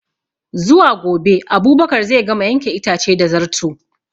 Zuwa gobe Abubakar zai gama yanke itace da Zarto